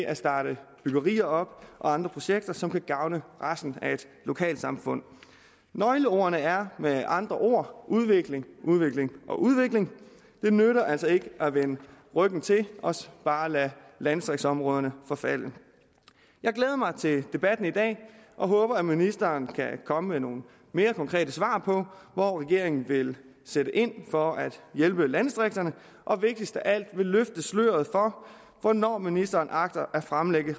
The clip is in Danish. at starte byggerier og andre projekter op som kan gavne resten af lokalsamfundet nøgleordene er med andre ord udvikling udvikling og udvikling det nytter altså ikke at vende ryggen til og bare lade landdistriktsområderne forfalde jeg glæder mig til debatten i dag og håber at ministeren kan komme med nogle mere konkrete svar på hvor regeringen vil sætte ind for at hjælpe landdistrikterne og vigtigst af alt vil løfte sløret for hvornår ministeren agter at fremlægge